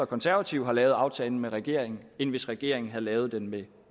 konservative har lavet aftalen med regeringen end hvis regeringen havde lavet den med